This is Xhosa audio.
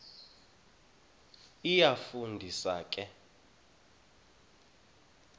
iyafu ndisa ke